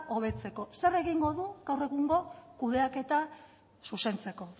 hobetzeko zer egingo du gaur egungo kudeaketa zuzentzeko